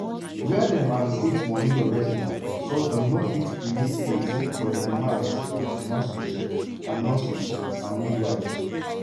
wia dem allocate moni already so dem no fit create space for di demands of di nurses and nurses and midwives.